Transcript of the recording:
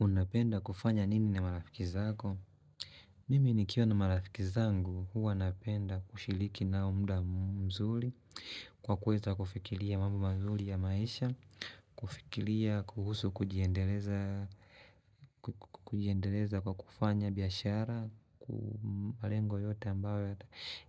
Unapenda kufanya nini na marafiki zako? Mimi nikiwa na marafiki zangu huwa napenda kushiliki nao muda mzuli kwa kweza kufikilia mambo mzuli ya maisha kufikilia kuhusu kujiendeleza kwa kufanya biashara ku malengo yote ambayo